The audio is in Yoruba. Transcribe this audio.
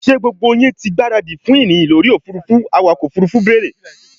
ṣé gbogbo yín ti gbáradì fún ìrìn lórí òfurufú? awakọ̀ òfurufú bèèrè?